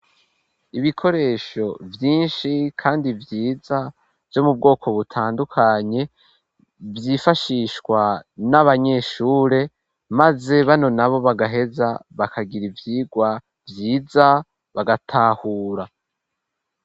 Ibikoresho vyinshi, kandi vyiza vyo mu bwoko butandukanye, vyifashishwa n'abanyeshure, maze bano nabo bagaheza bakagira ivyigwa vyiza bagatahura.